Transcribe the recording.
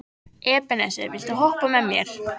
Ebeneser, viltu hoppa með mér?